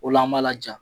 O la an b'a laja